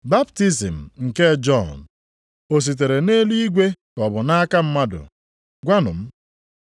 Baptizim nke Jọn, o sitere nʼeluigwe ka ọ bụ nʼaka mmadụ? Gwanụ m.”